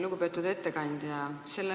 Lugupeetud ettekandja!